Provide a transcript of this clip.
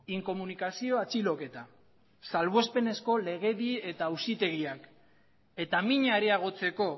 inkomunikazio atxiloketa salbuespenezko legedi eta auzitegiak eta mina areagotzeko